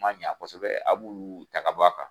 Ma ɲɛ kosɛbɛ a b'olu ta ka bɔ a kan.